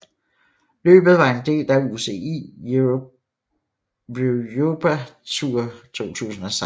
Løbet var en del af UCI Europa Tour 2016